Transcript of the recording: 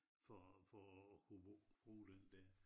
For for at kunne bruuge den dér